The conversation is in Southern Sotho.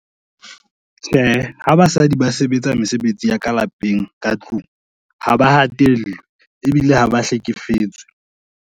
Tjhe, ha basadi ba sebetsa mesebetsi ya ka lapeng ka tlung, ha ba hatellwe ebile ha ba hlekefetswe.